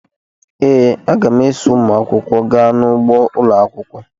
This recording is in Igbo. ee, aga m eso ụmụ akwụkwọ gaa n’ugbo ụlọ akwụkwọ